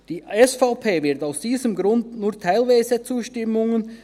Die SVP wird aus diesem Grund nur teilweise zustimmen;